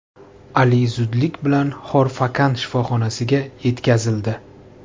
Ali zudlik bilan Xor-Fakkan shifoxonasiga yetkazildi.